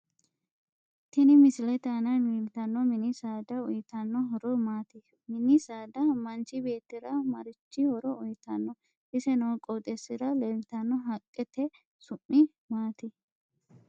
Tini misilete aana leeltanno mini saada uyiittanno horo maati mini saada manchi beetira marichi horo uyiitanno ise noo qooxeesira leeltanno haqqete su'mi maati